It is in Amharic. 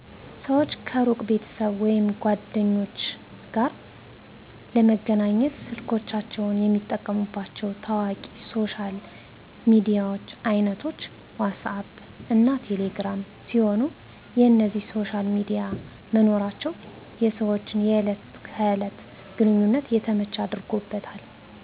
ሰወች ከሩቅ ቤተሰብ ወይም ጓደኞች ጋር ለመገናኘት ስልኮቻቸውን የሚጠቀሙባቸው ታዋቂ የሶሻል ሚዲያ አይነቶች "ዋትስአብ" እና ቴሌ ግራም ሲሆኑ፣ የእነዚህ ሶሻል ሚዲያ መኖራቸው የሰወችን የእለት ከእለት ግንኙነት የተመቸ አድርጎታል።